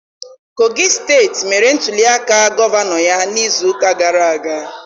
Kogi steeti mere ntuliaka gọvanọ ya n'izuụka gara aga.